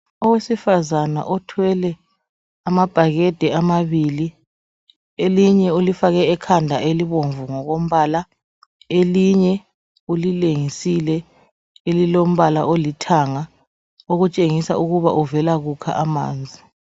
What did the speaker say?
Owesifazana othwele amabhakede amabili elinye ulifake ekhanda elibomvu ngokombala elinye ulilengisile elilombala olithanga okutshengisa ukuba uvela kukha amanzi.